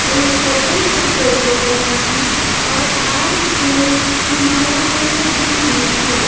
एक कपल का फोटो बना है और हार फुल की मालाएं सजी हुई हैं।